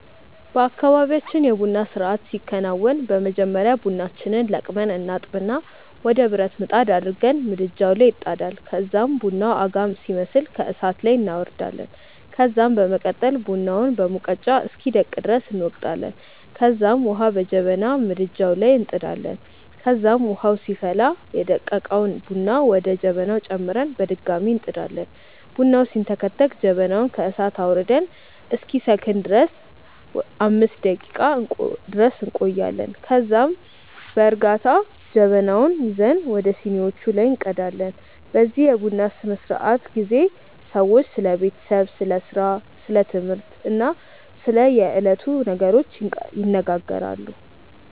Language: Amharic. በአካባብያችን የ ቡና ስርአት ሲከናወን በመጀመሪያ ቡናችንን ለቅመን እናጥብና ወደ ብረት ምጣድ አድርገን ምድጃዉ ላይ ይጣዳል ከዛም ቡናዉ አጋም ሲመስል ከእሳት ላይ እናወርዳለን ከዛም በመቀጠል ቡናውን በሙቀጫ እስኪደቅ ድረስ እንወቅጣለንከዛም ዉሀ በጀበና ምድጃዉ ላይ እንጥዳለን ከዛም ዉሀዉ ሲፈላ ደቀቀዉን ቡና ወደ ጀበናዉ ጨምረን በድጋሚ እንጥዳለን። ቡናዉ ሲንተከተክ ጀበናዉን ከእሳት ላይ አዉርደን እስኪሰክን ድረስ 5 ደቄቃ ድረስ እንቆያለን ከዛም ከዛ በእርጋታ ጀበናዉን ይዘን ወደ ሲኒዋቹ ላይ እንቀዳለን። በዚህ የቡና ስነስርዓት ጊዜ ሰዎች ስለ ቤተሰብ፣ ስለ ስራ፣ ስለ ትምህርት እና ስለ የዕለቱ ነገሮች ይነጋገራሉ።